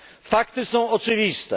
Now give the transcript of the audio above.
Fakty są oczywiste.